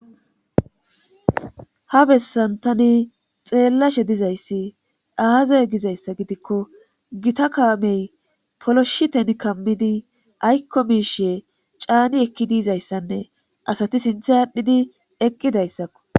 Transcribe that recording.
ha bessan tani xeellashe dizayssi aazay gizayssa gidikko gita kaamey poloshiten kammidi aykko miishe caani ekki diizayssanne asati sintha aadhdhidi eqqidayssakko